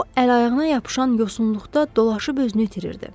O əl-ayağına yapışan yosunluqda dolaşıb özünü itirdi.